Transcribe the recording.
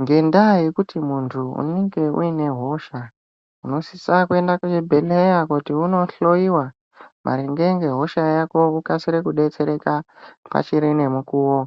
Ngendaa yekuti muntu unenge uine hosha unosisa kuende kuchibhedhleya kuti unohloyiwa maringe ngehosha yako wokasire kudetsereka pachine mukuwo.